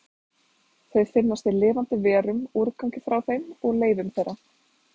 Þau finnast í lifandi verum, úrgangi frá þeim og leifum þeirra.